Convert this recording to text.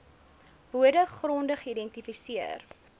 bode gronde geïdentifiseer